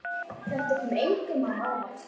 Þetta kom engum á óvart.